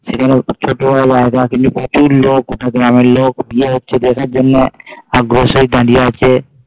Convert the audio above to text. সেখানে ছোট জায়গা কিন্তু প্রচুর লোক পুরো গ্রামের লোক গিয়ে দেখার জন্যে দাঁড়িয়ে আছে